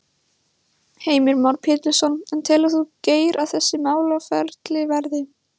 Heimir Már Pétursson: En telur þú Geir að þessi málaferli verði?